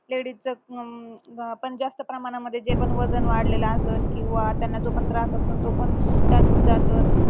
ladies च अं जास्त प्रमाणामध्ये जे पण वजन वाढलेलं आसन किंवा त्यांना जो पण त्रास आसन तो पण त्यातून जात